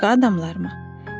Başqa adamlarmı?